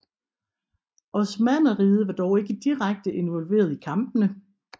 Osmanneriget var dog ikke direkte involveret i kampene